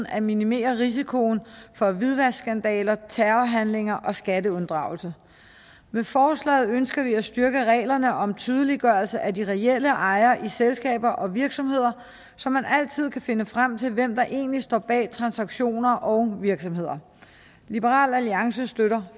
at minimere risikoen for hvidvaskskandaler terrorhandlinger og skatteunddragelse med forslaget ønsker vi at styrke reglerne om tydeliggørelse af de reelle ejere i selskaber og virksomheder så man altid kan finde frem til hvem der egentlig står bag transaktioner og virksomheder liberal alliance støtter